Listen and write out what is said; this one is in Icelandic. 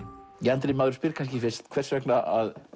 Andri maður spyr kannski fyrst hvers vegna að